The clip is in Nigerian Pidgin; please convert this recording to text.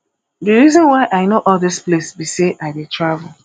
the reason why i know all dis place be say i dey travel